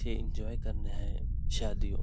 यह एन्जॉय करने आए हैं शादी यों--